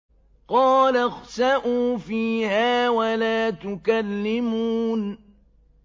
قَالَ اخْسَئُوا فِيهَا وَلَا تُكَلِّمُونِ